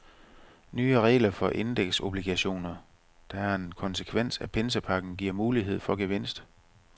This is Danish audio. Nye regler for indeksobligationer, der er en konsekvens af pinsepakken, giver gode muligheder for gevinst.